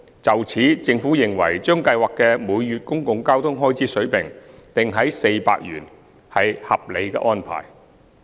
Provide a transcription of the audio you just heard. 就此，政府認為，將計劃的每月公共交通開支水平定於400元，屬合理安排。